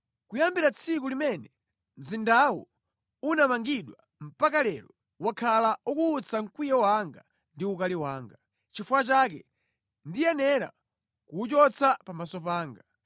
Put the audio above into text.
Kuyambira tsiku limene mzindawu unamangidwa mpaka lero, wakhala ukuwutsa mkwiyo wanga ndi ukali wanga. Nʼchifukwa chake ndiyenera kuwuchotsa pamaso panga.